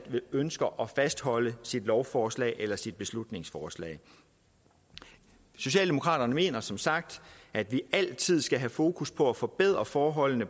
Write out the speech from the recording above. ønsker at fastholde sit lovforslag eller sit beslutningsforslag socialdemokraterne mener som sagt at vi altid skal have fokus på at forbedre forholdene